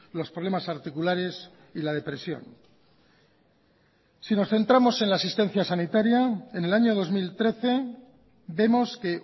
los problemas articulares y la depresión si nos centramos en la asistencia sanitaria en el año dos mil trece vemos que